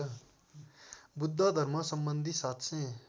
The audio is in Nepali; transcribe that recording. बुद्ध धर्मसम्बन्धी ७००